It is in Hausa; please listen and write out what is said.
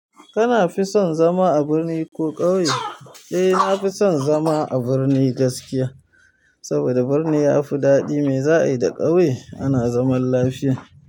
Kana fi son zama a birni ko ƙauye? Eh, nafi son zama a birni gaskiya. Saboda birni yafi daɗi mai za a yi da ƙauye ana zaman lafiya.